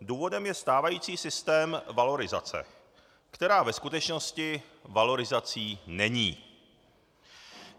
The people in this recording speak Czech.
Důvodem je stávající systém valorizace, která ve skutečnosti valorizací není.